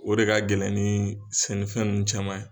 O de ka gɛlɛn ni sɛnɛfɛn nunnu caman ye.